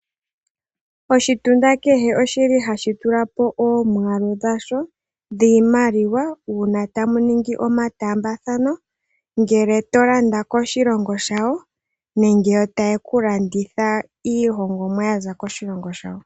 Oshilongo kehe ohashi tula po omwaalu dhasho dhiimaliwa uuna tamu ningi omataambathano, ngele to landa koshilongo shawo, nenge yo taye ku landitha iihongomwa ya za koshilongo shawo.